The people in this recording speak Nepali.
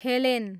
हेलेन